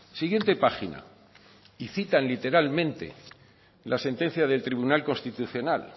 siguiente página y citan literalmente la sentencia del tribunal constitucional